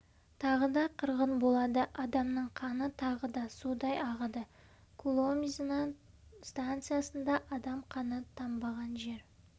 тағы да қырғын болады адамның қаны тағы да судай ағады куломзино станциясында адам қаны тамбаған жер